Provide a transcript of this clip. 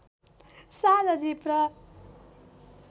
साझा जीप र